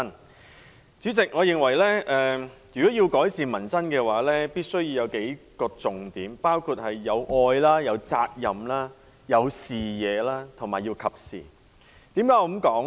代理主席，我認為如果要改善民生，政策必須具備數個要點，包括：愛、責任、視野和適時性。